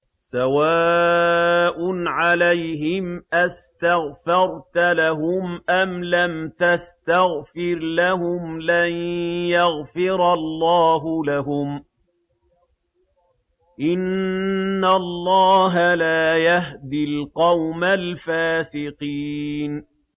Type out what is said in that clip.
سَوَاءٌ عَلَيْهِمْ أَسْتَغْفَرْتَ لَهُمْ أَمْ لَمْ تَسْتَغْفِرْ لَهُمْ لَن يَغْفِرَ اللَّهُ لَهُمْ ۚ إِنَّ اللَّهَ لَا يَهْدِي الْقَوْمَ الْفَاسِقِينَ